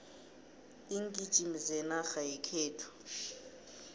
iingijimi zenarha yekhethu